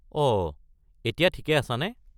অঁ, এতিয়া ঠিকে আছা নে?